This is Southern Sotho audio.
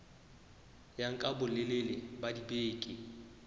ya nka bolelele ba dibeke